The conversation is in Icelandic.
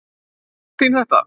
Veit mamma þín þetta?